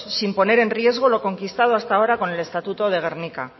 sin poner en riesgo lo conquistado hasta ahora con el estatuto de gernika